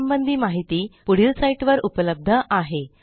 यासंबंधी माहिती पुढील साईटवर उपलब्ध आहे